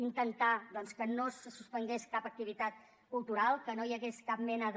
intentar doncs que no se suspengués cap activitat cultural que no hi hagués cap mena de